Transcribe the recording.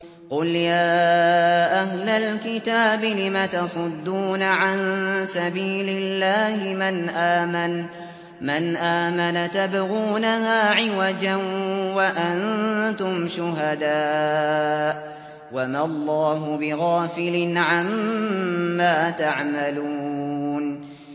قُلْ يَا أَهْلَ الْكِتَابِ لِمَ تَصُدُّونَ عَن سَبِيلِ اللَّهِ مَنْ آمَنَ تَبْغُونَهَا عِوَجًا وَأَنتُمْ شُهَدَاءُ ۗ وَمَا اللَّهُ بِغَافِلٍ عَمَّا تَعْمَلُونَ